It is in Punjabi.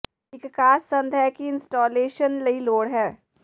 ਇੱਕ ਖਾਸ ਸੰਦ ਹੈ ਦੀ ਇੰਸਟਾਲੇਸ਼ਨ ਲਈ ਲੋੜ ਹੈ